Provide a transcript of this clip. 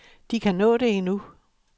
De kan nå det endnu.